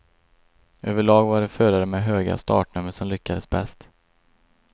Överlag var det förare med höga startnummer som lyckades bäst.